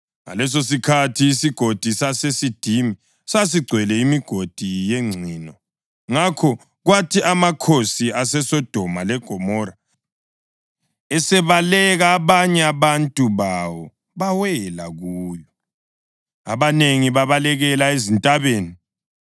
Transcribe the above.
Ngalesosikhathi iSigodi saseSidimi sasigcwele imigodi yengcino, ngakho kwathi amakhosi aseSodoma leGomora, esebaleka, abanye abantu bawo bawela kuyo, abanengi babalekela ezintabeni.